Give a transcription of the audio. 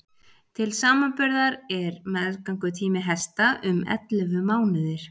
til samanburðar er meðgöngutími hesta um ellefu mánuðir